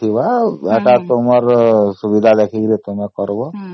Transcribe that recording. ହେଇଥିବ ଏଇଟା ତୁମ୍ଭର ସୁବିଧା ଦେଖି କରିବ